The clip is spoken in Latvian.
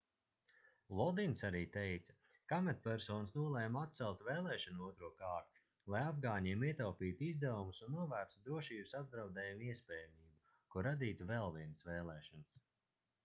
lodins arī teica ka amatpersonas nolēma atcelt vēlēšanu otro kārtu lai afgāņiem ietaupītu izdevumus un novērstu drošības apdraudējuma iespējamību ko radītu vēl vienas vēlēšanas